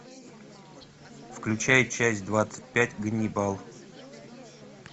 включай часть двадцать пять ганнибал